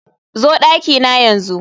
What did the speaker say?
zo dakina yanzu